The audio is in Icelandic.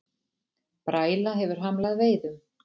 Bræla hefur hamlað veiðum